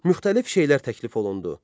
Müxtəlif şeylər təklif olundu.